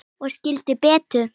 Ég skildi Betu.